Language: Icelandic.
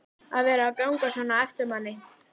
að vera að ganga svona á eftir manni.